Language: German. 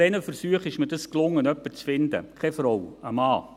Nach zwei Versuchen gelang es mir, jemanden zu finden, keine Frau, einen Mann.